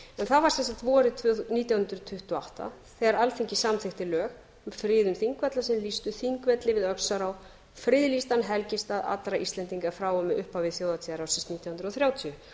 það var sem sagt vorið nítján hundruð tuttugu og átta þegar alþingi samþykktu lög um friðun þingvalla þegar þeir lýstu þingvelli við öxará friðlýstan helgistað allra íslendinga frá og með upphafi þjóðhátíðarársins nítján hundruð og þrjátíu